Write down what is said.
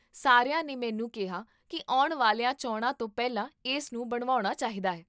ਸਾਰਿਆਂ ਨੇ ਮੈਨੂੰ ਕਿਹਾ ਕੀ ਆਉਣ ਵਾਲੀਆਂ ਚੋਣਾਂ ਤੋਂ ਪਹਿਲਾਂ ਇਸ ਨੂੰ ਬਣਵਾਉਣਾ ਚਾਹੀਦਾ ਹੈ